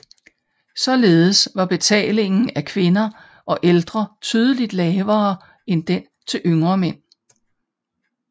Således var betalingen af kvinder og ældre tydeligt lavere end den til yngre mænd